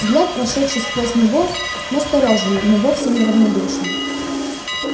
взгляд прошедший сквозь него настороженный но вовсе не равнодушный